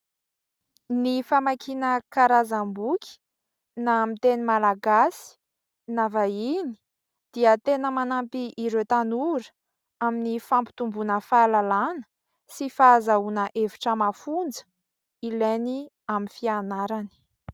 Ny famakiana karazam-boky na amin'ny teny malagasy na vahiny dia tena manampy ireo tanora amin'ny fampitombona fahalalàna sy fahazahoana hevitra mafonja, ilainy amin'ny fianarany.